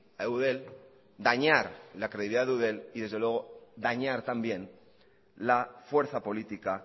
a eudel dañar la credibilidad de eudel y desde luego dañar también la fuerza política